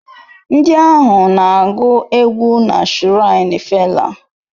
Ndị ahụ na-agụ egwú na shiraini fela